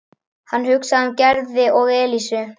Hann hugsaði um Gerði og Elísu.